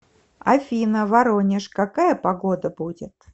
афина воронеж какая погода будет